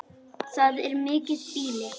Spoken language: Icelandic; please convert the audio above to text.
Það er mikið býli.